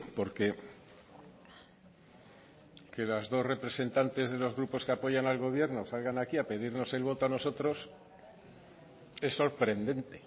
porque que las dos representantes de los grupos que apoyan al gobierno salgan aquí a pedirnos el voto a nosotros es sorprendente